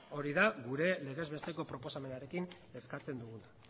hori da gure legez besteko proposamenarekin eskatzen duguna